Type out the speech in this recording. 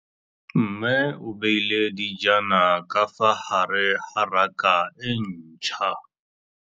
Mmê o beile dijana ka fa gare ga raka e ntšha.